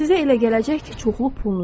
Sizə elə gələcək ki, çoxlu pulunuz var.